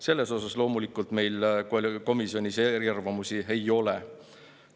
Selles meil komisjonis loomulikult eriarvamusi ei ole.